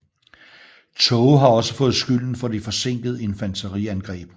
Tåge har også fået skylden for det forsinkede infanteriangreb